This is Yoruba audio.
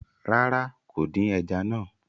Rárá, kò dín ẹja náà